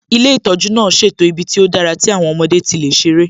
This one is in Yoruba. Ilé ìtọ́jú náà ṣètò ibi tó dára tí àwọn ọmọdé tí lè ṣerẹ́